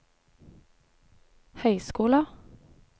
høyskoler